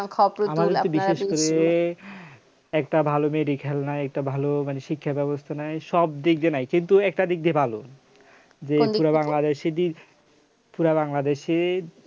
আমাদের হচ্ছে বিশেষ করে একটা ভালো medical নাই একটা ভালো মানে শিক্ষা ব্যবস্থা নাই সব দিক দিয়ে নাই কিন্তু একটা দিক দিয়ে ভালো যে পুরা বাংলাদেশিদের পুরা বাংলাদেশে